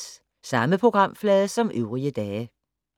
Samme programflade som øvrige dage